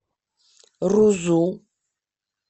рузу